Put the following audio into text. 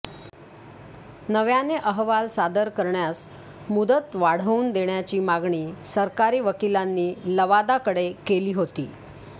नव्याने अहवाल सादर करण्यास मुदत वाढवून देण्याची मागणी सरकारी वकिलांनी लवादाकडे केली होती